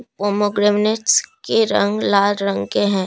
Pomegranates के रंग लाल रंग के हैं।